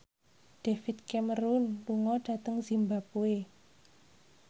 David Cameron lunga dhateng zimbabwe